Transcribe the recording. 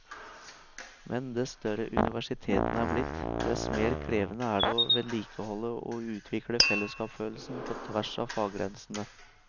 Men dess større universitetene er blitt, dess mer krevende er det å vedlikeholde og utvikle fellesskapsfølelsen på tvers av faggrensene.